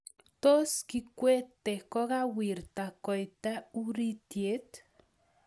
Tos, kikwete kogawirta koita uritiet?